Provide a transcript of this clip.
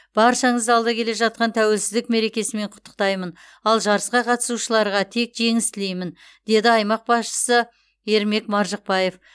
баршаңызды алда келе жатқан тәуелсіздік мерекесімен құттықтаймын ал жарысқа қатысушыларға тек жеңіс тілеймін деді аймақ басшысы ермек маржықпаев